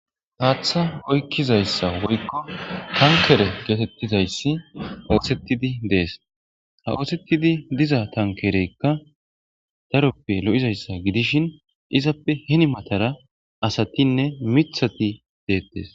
haatha oykkizayssa woykko tankere geetettizayssi oosettidi dees ha oosettidi diza tankereykka taroppe lo7izayssa gidishin izappe hini matara asatinne mithati deettes